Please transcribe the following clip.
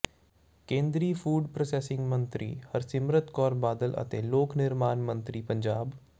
ਕੇਂਦਰੀ food processing ਮੰਤਰੀ ਹਰਸਿਮਰਤ ਕੌਰ ਬਾਦਲ ਅਤੇ ਲੋਕ ਨਿਰਮਾਣ ਮੰਤਰੀ ਪੰਜਾਬ ਸ